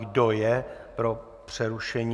Kdo je pro přerušení?